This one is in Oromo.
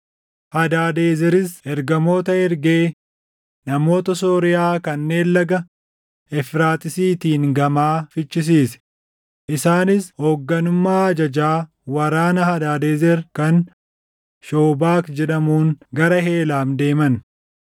Hadaadezeris ergamoota ergee namoota Sooriyaa kanneen Laga Efraaxiisiitiin gamaa fichisiise; isaanis hoogganummaa ajajaa waraana Hadaadezer kan Shoobak jedhamuun gara Heelaam deeman.